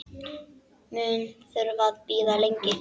Mun þurfa að bíða lengi.